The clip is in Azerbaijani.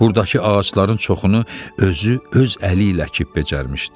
Buradakı ağacların çoxunu özü, öz əli ilə əkib becərmişdi.